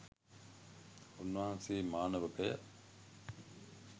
උන්වහන්සේ, මානවකය,